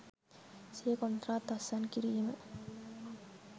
සිය කොන්ත්‍රාත් අත්සන් කිරීම